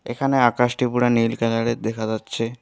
এখানে আকাশটি পুরা নীল কালারের দেখা যাচ্ছে।